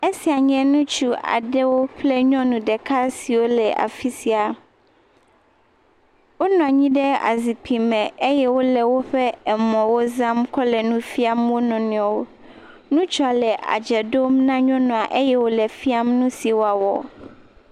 Esia nye ŋutsu aɖewo kple nyɔnu ɖeka siwo le afi sia, wonɔ anyi ɖe azikpui me eye wole woƒe emɔwo zam kɔ le nu fiam wo nɔnɔewo, ŋutsua le adze ɖom na nyɔnua eye wòle fiam nu si wòawɔ.